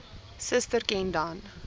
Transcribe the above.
suster ken dan